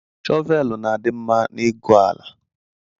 Shoveli na-adị mma n’ịgụ ala